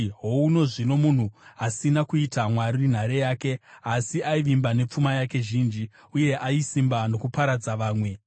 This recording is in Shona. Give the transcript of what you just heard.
“Houno zvino munhu asina kuita Mwari nhare yake, asi aivimba nepfuma yake zhinji, uye aisimba nokuparadza vamwe!”